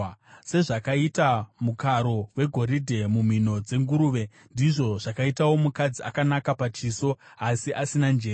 Sezvakaita mukaro wegoridhe mumhino dzenguruve, ndizvo zvakaitawo mukadzi akanaka pachiso asi asina njere.